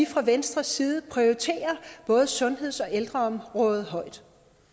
fra venstres side prioriterer både sundheds og ældreområdet højt